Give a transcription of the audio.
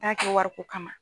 kɛ wariko kama.